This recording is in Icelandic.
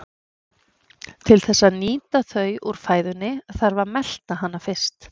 Til þess að nýta þau úr fæðunni þarf að melta hana fyrst.